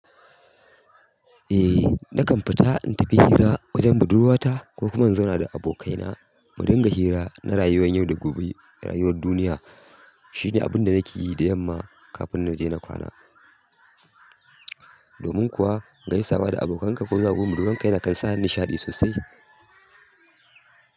Eh, nakan fita in tafi hira wajen budurwata ko kuma in zauna da abokaina mu dinga hira na rayuwan yau da gobe rayuwar duniya shine abunda nake yi da yamma kafin na je na kwana. Domin kuwa gaisawa da abokanka ko zuwa budurwarka yana kan sa ni nishaɗi sosai.